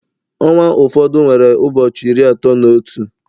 Ọnwa ụfọdụ nwere ụbọchị iri atọ na otu